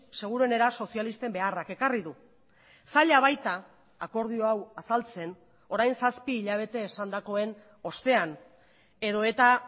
seguruenera sozialisten beharrak ekarri du zaila baita akordio hau azaltzen orain zazpi hilabete esandakoen ostean edota